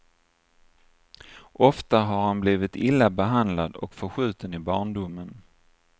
Ofta har han blivit illa behandlad och förskjuten i barndomen.